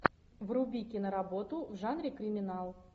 вруби киноработу в жанре криминал